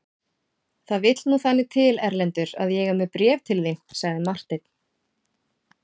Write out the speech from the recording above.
Það vill nú þannig til Erlendur að ég er með bréf til þín, sagði Marteinn.